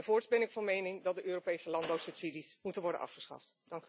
Voorts ben ik van mening dat de Europese landbouwsubsidies moeten worden afgeschaft.